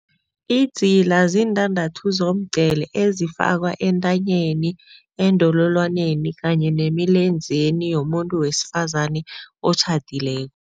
Idzila ziintandathu zomgqele ezifakwa entanyeni eendololwaneni kanye nemilenzeni yomuntu wesifazane otjhadileko.